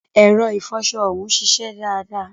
Ẹ̀rọ ìfọṣọ ọjọ́hun ṣiṣẹ́ dáadáa.